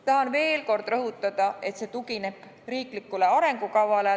Tahan veel kord rõhutada, et see tugineb riiklikule arengukavale.